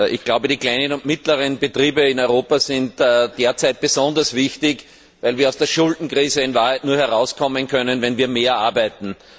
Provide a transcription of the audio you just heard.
Ich glaube, die kleinen und mittleren Betriebe in Europa sind derzeit besonders wichtig, weil wir aus der Schuldenkrise in Wahrheit nur herauskommen können, wenn wir mehr arbeiten.